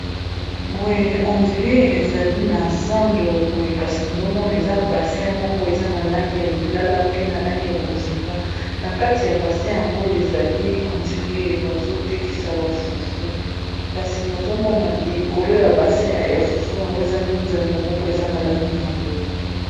Boye, on dire ezali na zando. Boye kasi, nazo mona eza basin moko ; eza na langi ya lilala, pe na langi ya bozinga. Na kati ya basin yango, ezali on dire bazo tekisa ba fufu. Kasi nazo mona, likolo ya basin ya fufu yango. eza linzanza moko eza na langi ya mbwe.